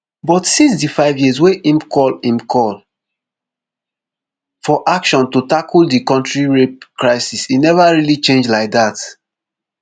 but since di five years wey im call im call for action to tackel di kontri rape crisis e neva really change like dat